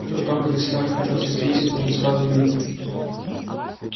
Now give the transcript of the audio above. и при том когда скарлетт разозлится это же сразу видно